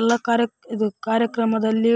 ಎಲ್ಲಾ ಕಾರ್ಯಕ್ರಮದಲ್ಲಿ